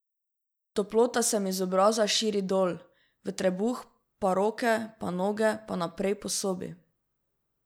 Toplota se mi z obraza širi dol, v trebuh pa roke pa noge pa naprej po sobi.